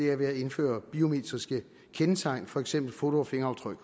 er ved at indføre biometriske kendetegn for eksempel foto og fingeraftryk